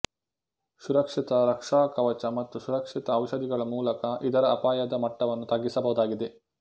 ಸುರಕ್ಷಿತ ರಕ್ಷಾಕವಚ ಮತ್ತು ಸುರಕ್ಷಿತ ಜೌಷಧಿಗಳ ಮೂಲಕ ಇದರ ಅಪಾಯದ ಮಟ್ಟವನ್ನು ತಗ್ಗಿಸಬಹುದಾಗಿದೆ